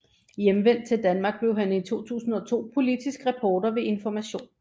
Hjemvendt til Danmark blev han i 2002 politisk reporter ved Information